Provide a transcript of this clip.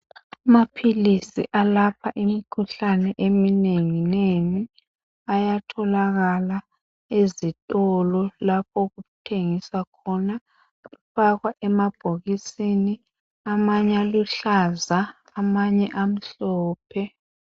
amaphilisi alapha imikhuhlane eminengi nengi ayatholakala ezitolo lapho okuthengiswa khona afakwa emabhokisini amanye aluhlaza amanye amhlophe